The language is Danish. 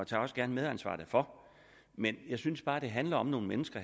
tager også gerne medansvar derfor men jeg synes bare det her handler om nogle mennesker